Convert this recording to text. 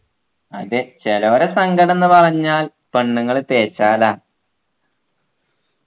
അതെ ചേലൊരെ സങ്കടം ന്നു പറഞ്ഞാൽ പെണ്ണുങ്ങൾ തേച്ചാലാ